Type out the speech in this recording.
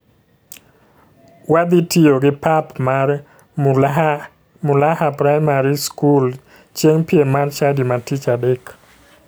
Wadhi tiyo gi pap mar mulaha primary skul chieng piem mar chadi ma tich adek.